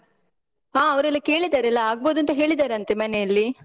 ಹಾ ಅವ್ರೆಲ್ಲ ಕೇಳಿದರೆ ಎಲ್ಲ ಆಗ್ಬೋದ್ ಅಂತ ಹೇಳಿದ್ದಾರಂತೆ ಮನೆಯಲ್ಲಿ.